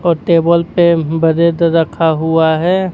और टेबल पे ब्रेड रखा हुआ है।